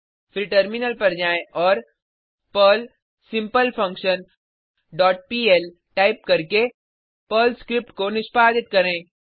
फिर टर्मिनल पर जाएँ और Perl simple function dot pl type करके पर्ल स्क्रिप्ट को निष्पादित करें